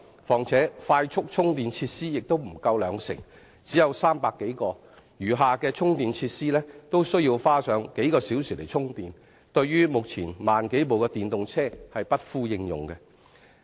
況且，當中快速充電設施不足兩成，只有300多個；其餘的充電設施均需要車主花上數小時充電，對於目前1萬多輛電動車而言是不敷應用的。